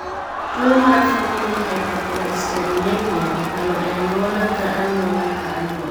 Tuwo mar family hypercholesterolemia okalo e anyuola ka anyuola ka anyuola.